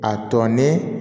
A tɔ ni